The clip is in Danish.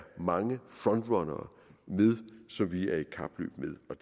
mange frontrunnere som vi er i kapløb